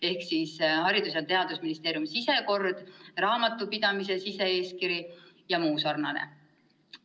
On ka Haridus- ja Teadusministeeriumi sisekord, raamatupidamise sise-eeskiri jms.